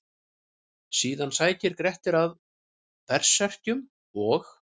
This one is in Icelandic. Síðan sækir Grettir að berserkjum og: